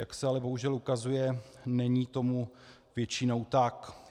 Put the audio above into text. Jak se ale bohužel ukazuje, není tomu většinou tak.